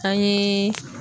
An ye